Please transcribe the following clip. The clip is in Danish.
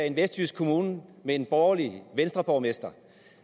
en vestjysk kommune med en borgerlig venstreborgmester